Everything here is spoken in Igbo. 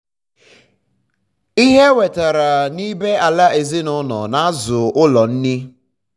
ihe e nwetere n'ibé-ala ezinụlọ na-azụ ụlọ nri.